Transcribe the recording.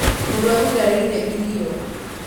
Mũrwaru ndareiereirio